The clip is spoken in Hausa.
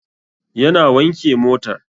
Yana wanke motar